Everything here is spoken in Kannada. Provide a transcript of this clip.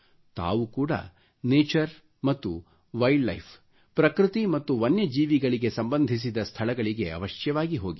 ತಾವು ಕೂಡಾ ನ್ಯಾಚರ್ ಮತ್ತು ವೈಲ್ಡ್ ಲೈಫ್ ಪ್ರಕೃತಿ ಮತ್ತು ವನ್ಯ ಜೀವಿಗಳಿಗೆ ಸಂಬಂಧಿಸಿದ ಸ್ಥಳಗಳಿಗೆ ಅವಶ್ಯವಾಗಿ ಹೋಗಿರಿ